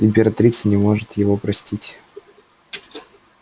императрица не может его простить